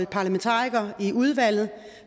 parlamentarikere i udvalget